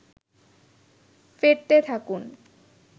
ফেটতে থাকুন